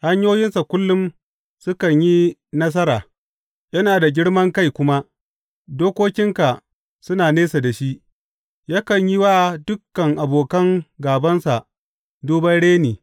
Hanyoyinsa kullum sukan yi nasara; yana da girman kai kuma dokokinka suna nesa da shi; yakan yi wa dukan abokan gābansa duban reni.